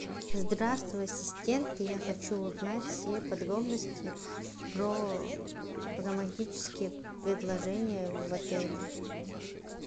здравствуй ассистент я хочу узнать все подробности про романтические предложения в отеле